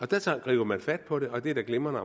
der tager man fat på det og det er da glimrende